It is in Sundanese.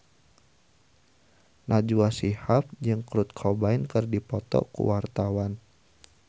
Najwa Shihab jeung Kurt Cobain keur dipoto ku wartawan